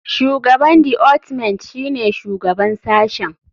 Shugaban deoartment shine shugaban sashen.